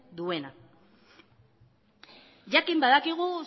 duena jakin badakigu